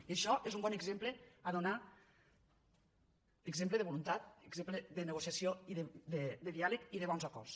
i això és un bon exemple a donar exemple de voluntat exemple de negociació de diàleg i de bons acords